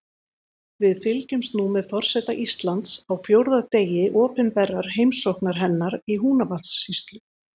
Við fylgjumst nú með forseta Íslands á fjórða degi opinberrar heimsóknar hennar í Húnavatnssýslu.